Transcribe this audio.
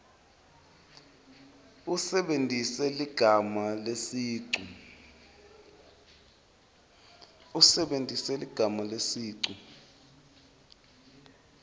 usebentise ligama lesicu